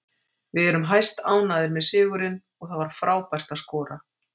Við erum hæstánægðir með sigurinn og það var frábært að skora.